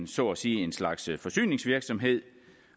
så at sige en slags forsyningsvirksomhed